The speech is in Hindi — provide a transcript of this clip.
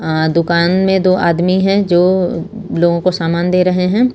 आं दुकान में दो आदमी हैं जो लोगों को सामान दे रहे हैं।